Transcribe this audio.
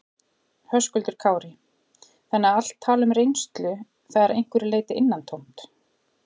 Höskuldur Kári: Þannig að allt tal um reynslu, það er að einhverju leyti innantómt?